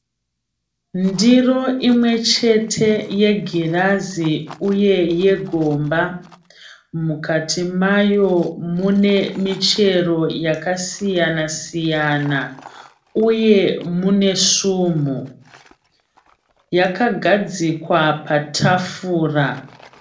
Ndiro imwechete yegirazi uye yegomba. Mukati mayo mune michero yakasiyana siyana uye mune sumhu. Yakagadzikwa patafura.